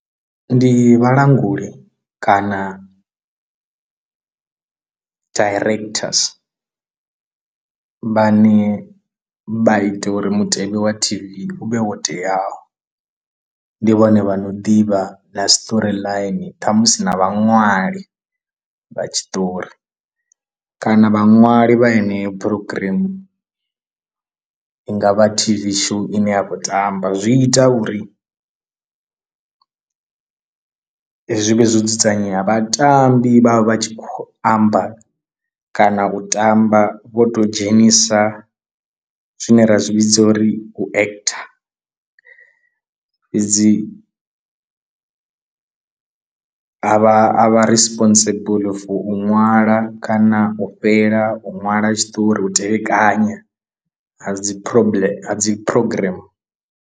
Ndi vhalanguli kana directors vhane vha ite uri mutevhe wa T_V u vhe wo teaho, ndi vhone vha no ḓivha na story line ṱhamusi na vhaṅwali vha tshiṱori kana vhaṅwali vha yeneyo programm i ngavha T_V show ine ya khou tamba, zwi ita uri zwi vhe zwo dzudzanyea vhatambi vha vha vha tshi khou amba kana u tamba vho to dzhenisa zwine ra zwi vhidza uri u actor dzi a vha a vha responsible for u ṅwala kana u fhela u ṅwala tshiṱori, u tevhekana ha dzi problem ha dzi program.